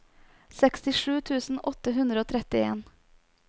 sekstisju tusen åtte hundre og trettien